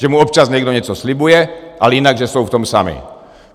Že mu občas někdo něco slibuje, ale jinak že jsou v tom sami.